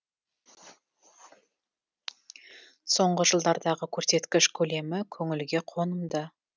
соңғы жылдардағы көрсеткіш көлемі көңілге қонымды